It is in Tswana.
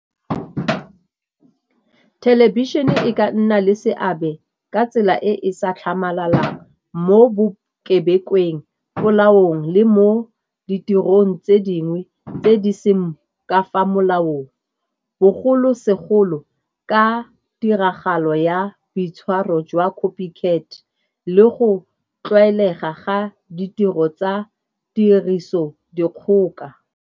Thelebišene e ka nna le seabe ka tsela e e sa tlhamalalang mo bokebekweng, molaong le mo ditirong tse dingwe tse di seng ka fa molaong, bogolosegolo ka tiragalo ya boitshwaro jwa Copy Cat le go tlwaelega ga ditiro tsa tiriso dikgoka.